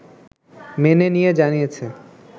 মেনে নিয়ে জানিয়েছে